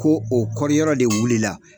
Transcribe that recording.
Ko o kɔri yɔrɔ de wuli la